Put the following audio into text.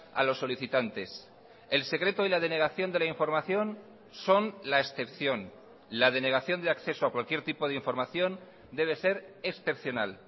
a los solicitantes el secreto y la denegación de la información son la excepción la denegación de acceso a cualquier tipo de información debe ser excepcional